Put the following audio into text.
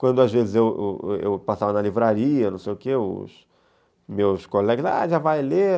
Quando às vezes eu eu passava na livraria, não sei o que, os meus colegas falavam, já vai ler?